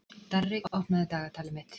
Darri, opnaðu dagatalið mitt.